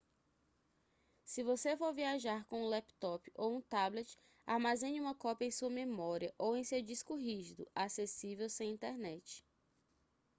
se você for viajar com um laptop ou um tablet armazene uma cópia em sua memória ou em seu disco rígido acessível sem internet